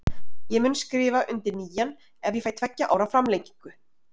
Ég mun skrifa undir nýjan ef ég fæ tveggja ára framlengingu.